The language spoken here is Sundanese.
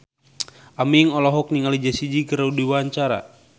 Aming olohok ningali Jessie J keur diwawancara